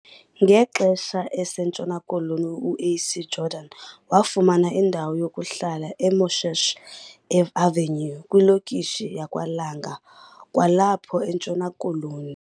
Ngexesha eseNtshona Koloni, UAC Jordan wafumana indawo yokuhlala eMoshesh Avenue kwilokishi yakwaLanga kwalapho eNtshona Koloni.